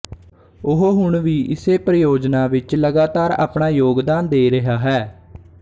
ਉਹ ਹੁਣ ਵੀ ਇਸੇ ਪਰਿਯੋਜਨਾ ਵਿੱਚ ਲਗਾਤਾਰ ਆਪਣਾ ਯੋਗਦਾਨ ਦੇ ਰਿਹਾ ਹੈ